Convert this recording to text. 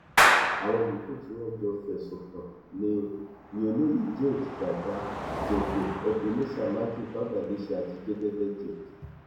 àwọn yòókù tí wọn jọ fẹsùn kàn ní ni olóye james dada jẹgẹ ebenezer mathew fabalise àti jẹgẹdẹ james